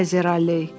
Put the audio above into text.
Kayzerli.